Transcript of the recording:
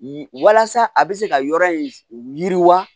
Walasa a bɛ se ka yɔrɔ in yiriwa